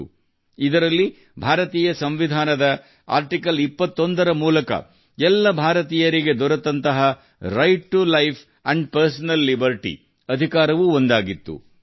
ಹೀಗೆ ಕಸಿದುಕೊಂಡ ಹಕ್ಕುಗಳಲ್ಲಿ ಸಂವಿಧಾನದ 21 ನೇ ವಿಧಿಯ ಅಡಿಯಲ್ಲಿ ಎಲ್ಲಾ ಭಾರತೀಯರಿಗೆ ಒದಗಿಸಲಾದ ಜೀವಿಸುವ ಹಕ್ಕು ಮತ್ತು ವೈಯಕ್ತಿಕ ಸ್ವಾತಂತ್ರ್ಯ ದ ಹಕ್ಕು ಕೂಡಾ ಒಂದಾಗಿತ್ತು